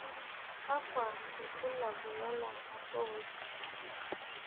kakua irbulabol lolamorooj?